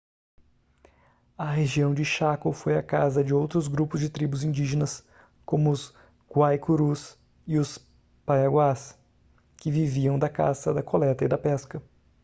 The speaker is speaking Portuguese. a região de chaco foi a casa de outros grupos de tribos indígenas como os guaicurus e os paiaguás que viviam da caça da coleta e da pesca